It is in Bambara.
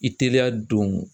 I teliya don